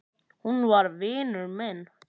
Hún var vinur minn.